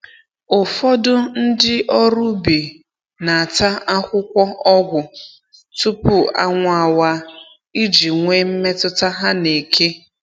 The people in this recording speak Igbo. Ụfọdụ ndị ọrụ ubi na-ata akwụkwọ ọgwụ tupu anwụ awaa, iji nwee mmetụta ha na eke